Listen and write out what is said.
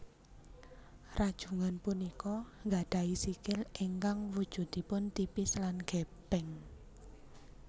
Rajungan punika nggadhahi sikil ingkang wujudipun tipis lan gépéng